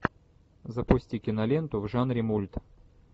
запусти киноленту в жанре мульт